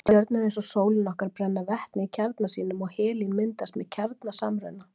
Stjörnur eins og sólin okkar brenna vetni í kjarna sínum og helín myndast með kjarnasamruna.